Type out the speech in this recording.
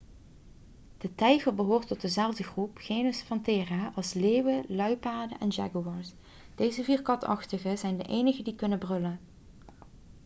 de tijger behoort tot dezelfde groep genus panthera als leeuwen luipaarden en jaguars. deze vier katachtigen zijn de enigen die kunnen brullen